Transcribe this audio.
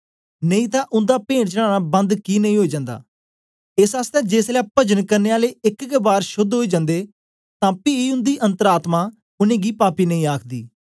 नेई तां उन्दा पेंट चढ़ाना बंद कि नेई ओई जन्दा एस आसतै जेसलै पजन करने आले एक गै बार शोद्ध ओई जन्दे तां पी उन्दी अन्तर आत्मा उनेंगी पापी नेई आखदी